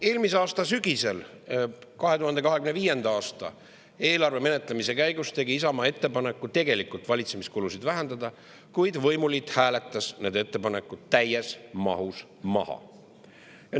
Eelmise aasta sügisel 2025. aasta eelarve menetlemise käigus tegi Isamaa ettepaneku tegelikult valitsemiskulusid vähendada, kuid võimuliit hääletas need ettepanekud täies mahus maha.